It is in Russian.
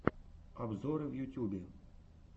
обзоры в ютюбе